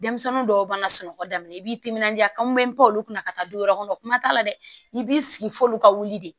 Denmisɛnnin dɔw b'a sunɔgɔ daminɛ i b'i timinanja kan n bɛ polu kunna ka taa du wɛrɛ kɔnɔ kuma t'a la dɛ i b'i sigi f'olu ka wuli de